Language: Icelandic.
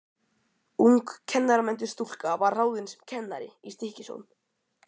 Ung kennaramenntuð stúlka var ráðin sem kennari í Stykkishólm.